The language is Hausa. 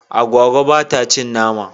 Agwagwa ba ta cin nama.